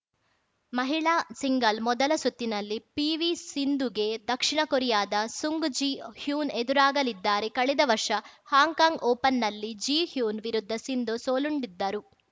ಮಹಿಳಾ ಸಿಂಗಲ್ ಮೊದಲ ಸುತ್ತಿನಲ್ಲಿ ಪಿವಿಸಿಂಧುಗೆ ದಕ್ಷಿಣಕೊರಿಯಾದ ಸುಂಗ್‌ ಜಿ ಹ್ಯುನ್‌ ಎದುರಾಗಲಿದ್ದಾರೆ ಕಳೆದ ವರ್ಷ ಹಾಂಕಾಂಗ್‌ ಓಪನ್‌ನಲ್ಲಿ ಜಿ ಹ್ಯುನ್‌ ವಿರುದ್ಧ ಸಿಂಧು ಸೋಲುಂಡಿದ್ದರು